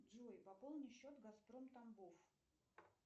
джой пополни счет газпром тамбов